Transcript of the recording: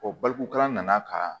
balokolan nana ka